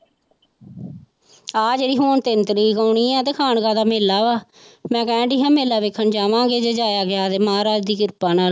ਆਹ ਜਿਹੜੀ ਹੁਣ ਤਿੰਨ ਤਰੀਕ ਆਉਣੀ ਆਂ ਤੇ ਖਾਣਕਾ ਦਾ ਮੇਲਾ ਵਾ ਮੈਂ ਕਹਿਣਡੀ ਸੀ ਮੇਲਾ ਵੇਖਣ ਜਾਵਾਂਗਾ ਜੇ ਜਾਇਆ ਗਿਆ ਤੇ ਮਹਾਰਾਜ ਦੀ ਕਿਰਪਾ ਨਾਲ।